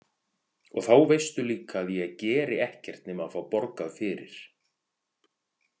Og þá veistu líka að ég geri ekkert nema að fá borgað fyrir.